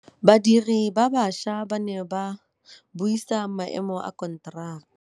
Badiri ba baša ba ne ba buisa maêmô a konteraka.